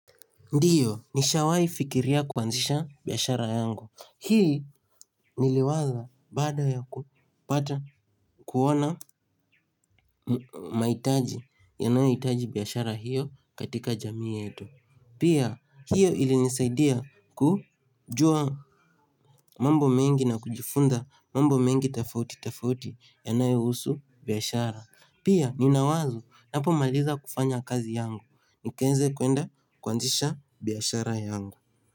Ndiyo nishawai fikiria kuanzisha biashara yangu. Hii niliwaza baada ya kupata kuona maitaji yanayoitaji biashara hiyo katika jamii yetu. Pia hiyo ilinisaidia kujua mambo mengi na kujifunza mambo mengi tafauti tafauti yanayousu biashara. Pia nina wazo napomaliza kufanya kazi yangu nikaeze kuenda kuanzisha biashara yangu.